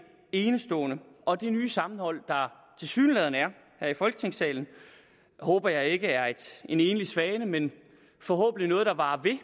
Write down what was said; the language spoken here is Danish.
enestående og det nye sammenhold der tilsyneladende er her i folketingssalen håber jeg ikke er en enlig svale men forhåbentlig noget der varer ved